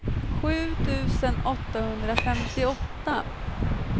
sju tusen åttahundrafemtioåtta